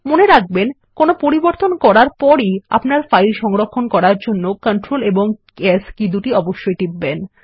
মনে রাখবেন কোনো পরিবর্তন করার পর ই আপনার ফাইল সংরক্ষণ করার জন্য Ctrl s কী দুটি একসাথে টিপবেন